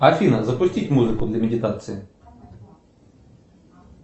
афина запустить музыку для медитации